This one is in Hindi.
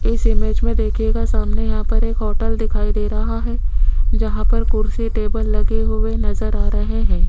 इस इमेज मे देखियेगा सामने यहां पर एक होटल दिखाई दे रहा है जहां पर कुर्सी टेबल लगे हुए नज़र आ रहे हैं।